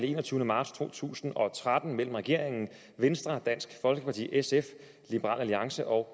enogtyvende marts to tusind og tretten mellem regeringen venstre dansk folkeparti sf liberal alliance og